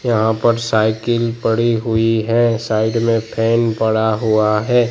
यहां पर साइकिल पड़ी हुई है साइड में फैन पड़ा हुआ है।